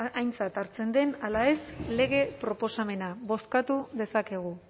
aintzat hartzen den ala ez lege proposamena bozkatu dezakegu